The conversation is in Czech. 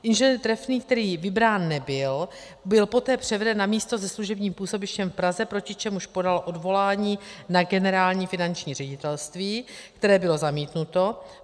Ing. Trefný, který vybrán nebyl, byl poté převeden na místo se služebním působištěm v Praze, proti čemuž podal odvolání na Generální finanční ředitelství, které bylo zamítnuto.